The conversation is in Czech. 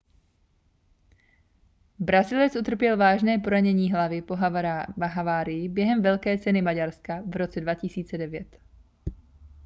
brazilec utrpěl vážné poranění hlavy po havárii během velké ceny maďarska v roce 2009